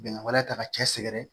Bɛnkan wɛrɛ ta ka cɛ sɛgɛrɛ